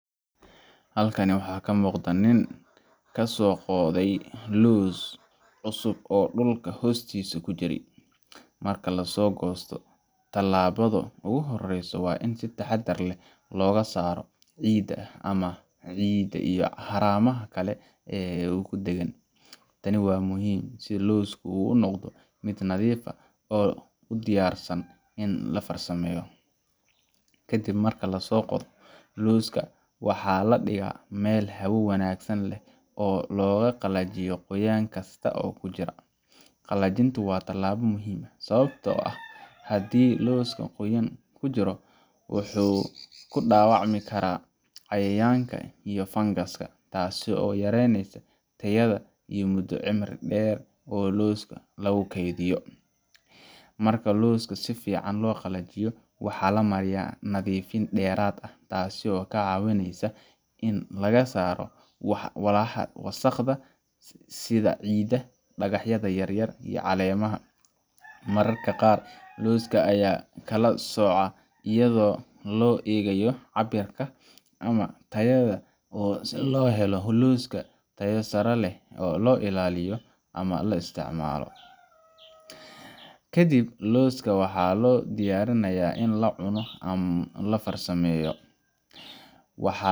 Halkaani waxaa kamuqda nin kasoo qoday loos cusub oo dhulka hostiis kujiray, marka lasoo gosto tilaabada ogu horeyso waa in si taxadar leh loga saaro ciida ama xiniida iyo haraamaha ee gudheegan, taani waa muhiim si loosku uu unoqdo mid nadiif ah oo u diyaarsan in la farsameeyo, kadib marka lasoo qodo looska waxaa ladhigaa Mel hawo wanaagsan leh oo loga qalajiyo qoyan kista oo kujira, qalajintu waa talaaba muhiim ah sababto ah hadii looska qoyaan kujiro wuxuu kudhaawacmi karaa cayayanka iyo funguska taasi oo yareyneysa tayada iyo mudo cimri dheer oo looska lagu keydiyo, marka looska si fican loo qalajiyo waxaa lamariya nadiifin dheerad ah taasi oo ka caawineysa in laga saaro walaxa wasaqda sida ciida, dhagaxyada yaryar iyo caleemaha, mararka qaar looska aya kala sooca ayado loo eegayo caabirka ama tayada oo si loo helo loska tayo saare leh oo loo illaliyo ama la isticmaalo, kadib looska waxaa loo diyarinaya in laa cuno ama lafarsameeyo waxaas dhamaan